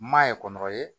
N ma ye kɔnkɔrɔ ye